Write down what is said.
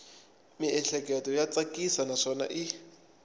miehleketo ya tsakisa naswona i